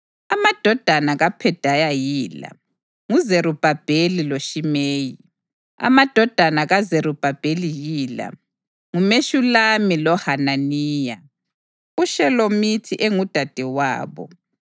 Amadodana kaPhedaya yila: nguZerubhabheli loShimeyi. Amadodana kaZerubhabheli yila: nguMeshulami loHananiya. UShelomithi engudadewabo.